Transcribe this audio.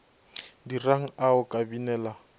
dirang a o ka binela